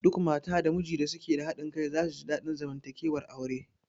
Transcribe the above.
Duk mata da mijin da suke da haɗin kai za su ji daɗin zamantakewar aure